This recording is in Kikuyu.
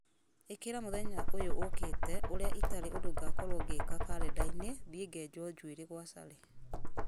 ĩkĩra mũthenya ũyũ ũũkĩte ũrĩa itarĩ ũndũ ngakorwo ngĩka karenda-inĩ thiĩ ngenjwo njuĩrĩ gwa sally